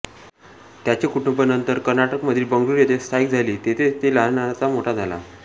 त्याचे कुटूंब नंतर कर्नाटकमधील बंगळूर येथे स्थायिक झाली तेथेच तो लहानाचा मोठा झाला